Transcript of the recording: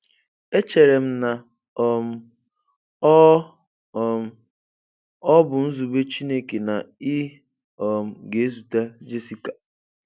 Echere m na um ọ um ọ bụ nzube Chukwu na ị um ga-ezute Jessica